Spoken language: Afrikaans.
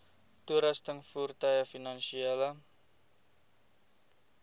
toerusting voertuie finansiële